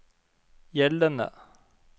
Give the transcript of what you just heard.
gjeldende